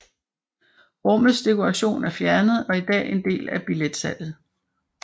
Rummets dekoration er fjernet og er i dag en del af billetsalget